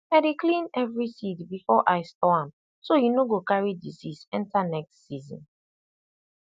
i dey clean every seed before i store am so e no go carry disease enter next season